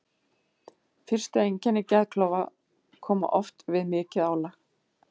Fyrstu einkenni geðklofa koma oft fram við mikið álag.